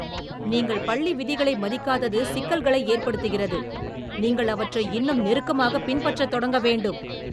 நீங்கள் பள்ளி விதிகளை மதிக்காதது சிக்கல்களை ஏற்படுத்துகிறது, நீங்கள் அவற்றை இன்னும் நெருக்கமாகப் பின்பற்றத் தொடங்க வேண்டும்.